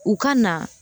U ka na